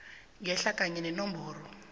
ngehla kanye nenomboro